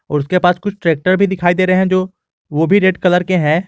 उसके पास कुछ ट्रैक्टर भी दिखाई दे रहे हैं जो वो भी रेड कलर के हैं।